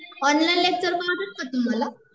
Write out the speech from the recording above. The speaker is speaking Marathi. ऑनलाईन लेक्चर रोज कळतात का तुम्हाला